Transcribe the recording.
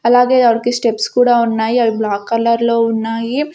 అలాగే ఆవిడకి స్టెప్స్ కూడా ఉన్నాయి అవి బ్లాక్ కలర్లో ఉన్నాయి.